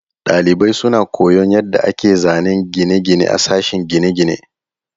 Dalibai suna koyon yadda ake zanen gine-gine a sashen gine-gine.